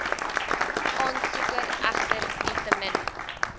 aansoeker egter nietemin